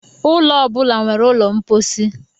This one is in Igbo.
Ụlọ ọ bụla nwere ụlọ mposi.